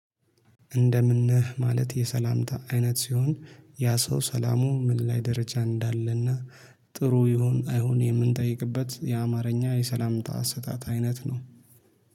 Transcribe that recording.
እንደምን ነህ ማለት የሰላምታ አይነት ሲሆን ያ ሰው ሰላሙ ምን ላይ ደረጃ እንዳለና ጥሩ ይሁን አይሁን የምንጠይቅበት የአማርኛ የሰላምታ ስህተት አይነት ነው